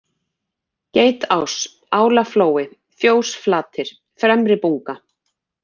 Geitás, Álaflói, Fjósflatir, Fremribunga